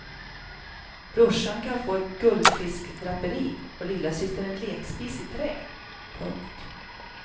Brorsan kan få ett guldfiskdraperi och lillasyster en lekspis i trä. punkt